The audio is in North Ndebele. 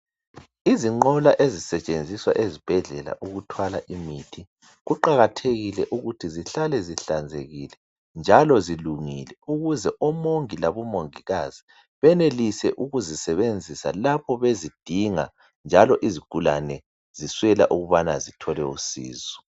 Izinqola ezisetshenziswa esibhedlela ukuthwala imithi, kuqakathekile ukuthi zihlale zihlanzekile njalo zilungile ukuze omongi labomongikazi benelise ukuzisebenzisa lapho bezidinga njalo izigulane azisweli ukubana zithole usizo.